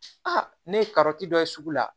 ne ye karɔti dɔ ye sugu la